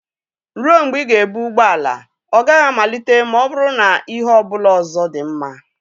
Ruo mgbe ị ga-ebu ụgbọ ala, ọ gaghị amalite ma ọ bụrụ na ihe ọ bụla ọzọ dị mma.